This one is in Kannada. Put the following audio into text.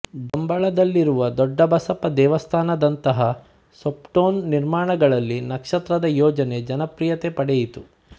ಡಂಬಳದಲ್ಲಿರುವ ದೊಡ್ಡ ಬಸಪ್ಪ ದೇವಸ್ಥಾನದಂತಹ ಸೋಪ್ಟೋನ್ ನಿರ್ಮಾಣಗಳಲ್ಲಿ ನಕ್ಷತ್ರದ ಯೋಜನೆ ಜನಪ್ರಿಯತೆ ಪಡೆಯಿತು